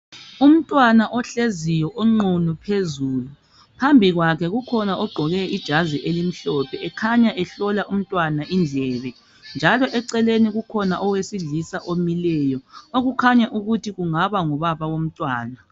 Umntwana ohleziyo onqunu phezulu, phambi kwakhe kukhona ogqoke ijazi elimhlophe ekhanya ehlola umntwana indlebe njalo eceleni kukhona owesilisa omileyo okukhanya ukuthi kungaba ngubaba womntwana